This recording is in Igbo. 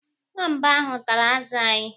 Nwamba ahụ tara azụ anyị.